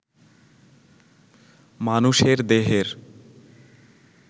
মানুষের দেহের